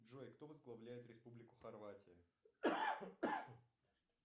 джой кто возглавляет республику хорватия